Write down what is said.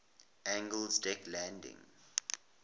angled deck landing